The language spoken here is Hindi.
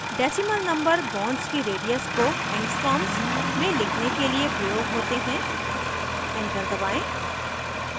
decimal number bonds की radius को angstroms में लिखने के लिए प्रयोग होते हैं enter दबाएं